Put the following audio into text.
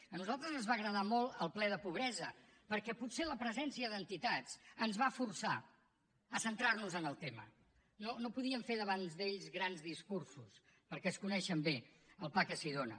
a nosaltres ens va agradar molt el ple de pobresa perquè potser la presència d’entitats ens va forçar a centrar nos en el tema no podíem fer davant d’ells grans discursos perquè es coneixen bé el pa que s’hi dóna